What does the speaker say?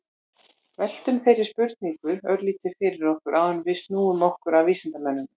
veltum þeirri spurningu örlítið fyrir okkur áður en við snúum okkur að vísindamönnunum